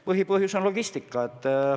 Põhipõhjus on logistika.